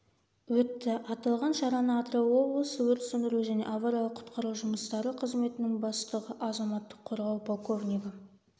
өтті аталған шараны атырау облысы өрт сөндіру және авариялық-құтқару жұмыстары қызметінің бастығы азаматтық қорғау полковнигі